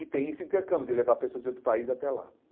E tem esse intercâmbio, de levar pessoas de outro país até lá.